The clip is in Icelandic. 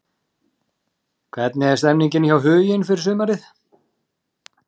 Hvernig er stemningin hjá Huginn fyrir sumarið?